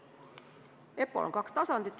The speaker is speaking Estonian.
EPPO-l on kaks tasandit.